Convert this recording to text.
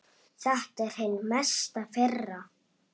Þetta er hin mesta firra.